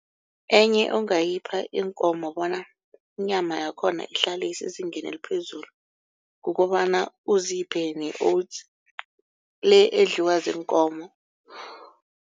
Enye ongayipha iinkomo bona inyama yakhona ihlale isezingeni eliphezulu kukobana uziphe ne-oats le edliwa ziinkomo.